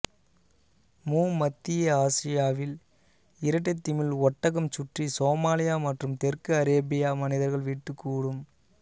மு மத்திய ஆசியாவில் இரட்டைத்திமில் ஒட்டகம் சுற்றி சோமாலியா மற்றும் தெற்கு அரேபியா மனிதர்கள் வீட்டு கூடும்